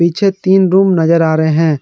पीछे तीन रूम नजर आ रहे हैं।